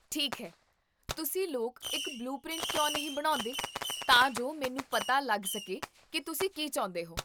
ਠੀਕ ਹੈ, ਤੁਸੀਂ ਲੋਕ ਇੱਕ ਬਲੂ ਪ੍ਰਿੰਟ ਕਿਉਂ ਨਹੀਂ ਬਣਾਉਂਦੇਤਾਂ ਜੋ ਮੈਨੂੰ ਪਤਾ ਲੱਗ ਸਕੇ ਕੀ ਤੁਸੀਂ ਕੀ ਚਾਹੁੰਦੇ ਹੋ